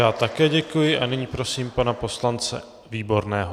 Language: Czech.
Já také děkuji a nyní prosím pana poslance Výborného.